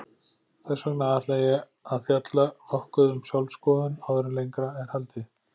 Þess vegna ætla ég að fjalla nokkuð um sjálfsskoðun áður en lengra er haldið.